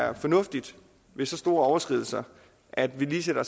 er fornuftigt ved så store overskridelser at vi lige sætter